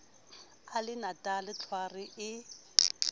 a le natala tlhware e